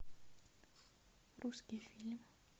русский фильм